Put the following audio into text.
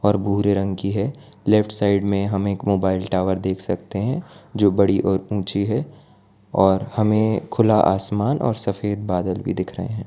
पर भूरे रंग की है लेफ्ट साइड में हम एक मोबाइल टावर देख सकते हैं जो बड़ी और ऊंची है और हमें खुला आसमान और सफेद बादल भी दिख रहे हैं।